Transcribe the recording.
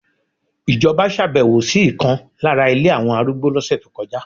Ijoba ṣàbẹ̀wò sí ìkan lára ilé àwọn arúgbó lọ́sẹ̀ tó kọjá